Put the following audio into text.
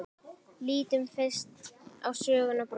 Lítum fyrst á sögnina brosa: